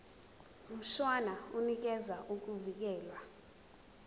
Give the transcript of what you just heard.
mshwana unikeza ukuvikelwa